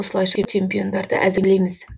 осылайша чемпиондарды әзірлейміз